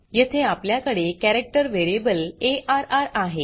येथे आपल्याकडे character variable array आहे